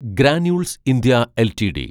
granules India LTD